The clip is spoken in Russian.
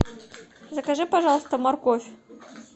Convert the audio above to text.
закажи пожалуйста морковь